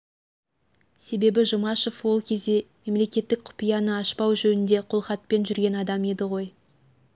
себебі жұмашев ол кезде мемлекеттік құпияны ашпау жөнінде қолхатпен жүрген адам еді ғой